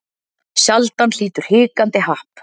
Sjaldan hlýtur hikandi happ.